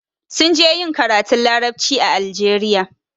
Sun je ƴin karatun laraɓci a Algeria.